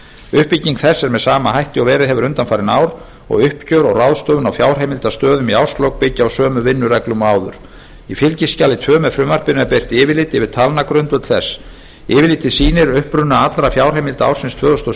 uppbygging þess er með sama hætti og verið hefur undanfarin ár og uppgjör og ráðstöfun á fjárheimildastöðum í árslok byggja á sömu vinnureglum og áður í fylgiskjali tvö með frumvarpinu er birt yfirlit yfir talnagrundvöll þess yfirlitið sýnir uppruna allra fjárheimilda ársins tvö þúsund og